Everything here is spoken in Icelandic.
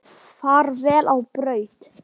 Far vel á braut.